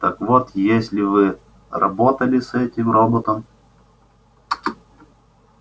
так вот если вы работали с этим роботом